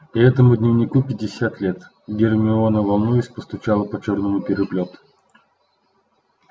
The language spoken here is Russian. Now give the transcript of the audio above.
и этому дневнику пятьдесят лет гермиона волнуясь постучала по чёрному переплету